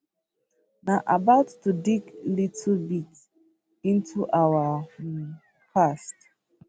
na about to dig little bit into our um past